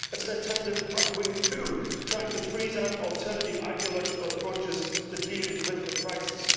it is an attempted rightwing coup which tries to freeze out alternative ideological approaches to dealing with the crisis.